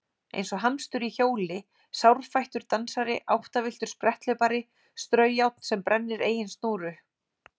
Eins og hamstur í hjóli sárfættur dansari áttavilltur spretthlaupari straujárn sem brennir eigin snúru